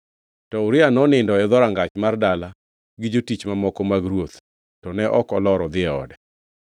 To Uria nonindo e dhorangach mar dala gi jotich mamoko mag ruoth to ne ok olor odhi e ode.